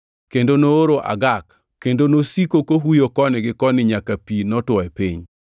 kendo nooro agak kendo nosiko kohuyo koni gi koni nyaka pi notwo e piny.